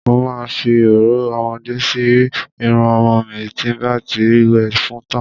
Mo ma fi òróró ọmọdé sí irun ọmọ mi tí n bá ti wẹ̀ fún tán.